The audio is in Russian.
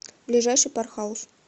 ближайший пар хаус